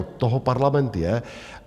Od toho parlament je.